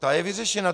Ta je vyřešena.